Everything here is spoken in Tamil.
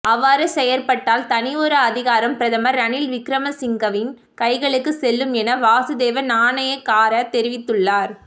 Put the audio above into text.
அவ்வாறு செயற்பட்டால் தனியொரு அதிகாரம் பிரதமர் ரணில் விக்ரமசிங்ஹவின் கைகளுக்கு செல்லும் என வாசுதேவ நாணயக்கார தெரிவித்துள்ளார்